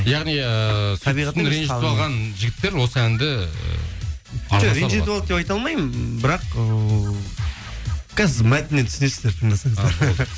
яғни ыыы жігіттер осы әнді ренжітіп алды деп айта алмаймын бірақ ыыы қазір мәтіннен түсінесіздер тыңдасаңыздар